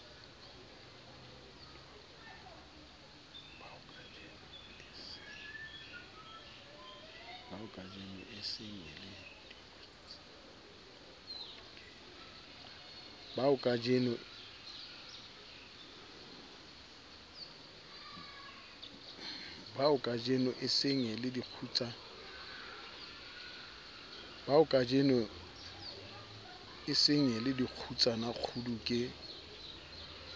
baokajeno e sengele dikgutsanakgudu ke